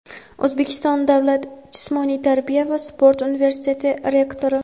O‘zbekiston davlat jismoniy tarbiya va sport universiteti rektori;.